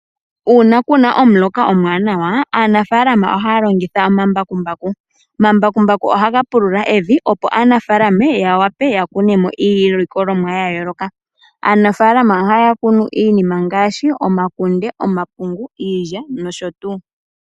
Uuna kuna omuloka omuwanawa , aanafaalama ohaya longitha omambakumbaku . Omambakumbaku ohaga pulula evi opo aanafaalama ya wape yakune iilikolomwa yayooloka. Aanafaalama ohaya kunu iinima ngaashi omakunde , omapungu , iilya nosho tuu .